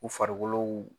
U farikolo